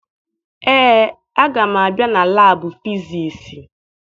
Ee, aga m abịa na laabụ fisiisi.